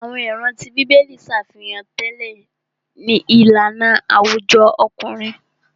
Àwọn ìran tí bíbélì ṣàfihàn tẹlẹ ìlànà àwùjọ ọkùnrin.